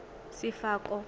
sefako